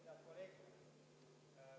Head kolleegid!